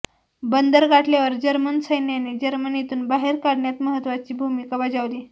बंदर गाठल्यावर जर्मन सैन्याने जर्मनीतून बाहेर काढण्यात महत्त्वाची भूमिका बजावली